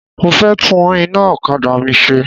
Mo fẹ́ tún iná okada mi ṣe.